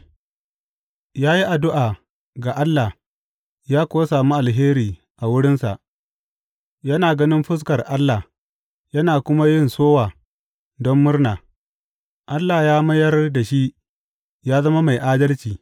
Ya yi addu’a ga Allah ya kuwa samu alheri a wurinsa, yana ganin fuskar Allah yana kuma yin sowa don murna; Allah ya mayar da shi ya zama mai adalci.